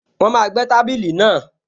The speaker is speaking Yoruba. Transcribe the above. Wọ́n máa gbẹ́ tábìlì náà